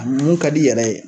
A mun ka d'i yɛrɛ ye